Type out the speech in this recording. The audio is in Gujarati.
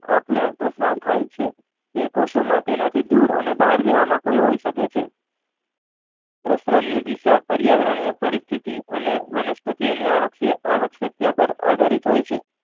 આપ લે પ્રક્રિયા થાય છે તે કોષો માં તેનાથી દૂર અને બહાર જવામાં કોઈ હોઈ શકે છે પ્રસરણની દિશા પરિયાવરીનીય પરિસ્થિતિ અને વનસ્પતિ ઓ ની આવત આવક જગ્યા માં આધારિત હોય છે.